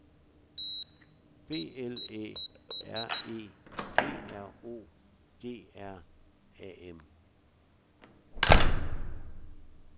B L Æ R E P R O G R A M